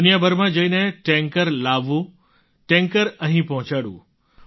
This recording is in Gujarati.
દુનિયાભરમાં જઈને ટૅન્કર લાવવું ટૅન્કર અહીં પહોંચાડવું